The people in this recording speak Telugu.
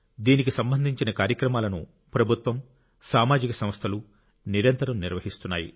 దీనికి సంబంధించిన కార్యక్రమాలను ప్రభుత్వం సామాజిక సంస్థలు నిరంతరం నిర్వహిస్తున్నాయి